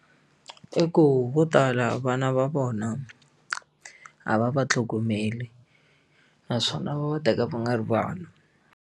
I ku vo tala vana va vona a va va tlhogomeli naswona va va teka va nga ri vanhu.